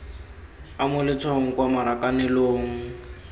o mo letshwaong kwa marakanelong